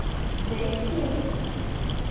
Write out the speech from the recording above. дэсин